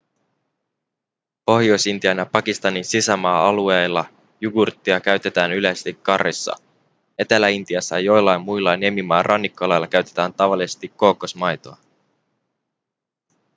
pohjois-intian ja pakistanin sisämaa-alueilla jugurttia käytetään yleisesti curryissa etelä-intiassa ja joillain muilla niemimaan rannikkoalueilla käytetään tavallisesti kookosmaitoa